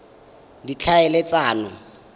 ditlhaeletsano